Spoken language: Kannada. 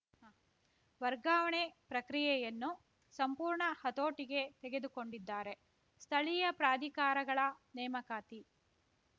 ವರ್ಗಾವಣೆ ಪ್ರಕ್ರಿಯೆಯನ್ನು ಸಂಪೂರ್ಣ ಹತೋಟಿಗೆ ತೆಗೆದುಕೊಂಡಿದ್ದಾರೆ ಸ್ಥಳೀಯ ಪ್ರಾಧಿಕಾರಗಳ ನೇಮಕಾತಿ